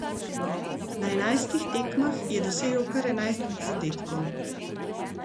Na enajstih tekmah je dosegel kar enajst zadetkov.